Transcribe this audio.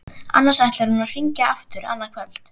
Annars ætlar hún að hringja aftur annað kvöld.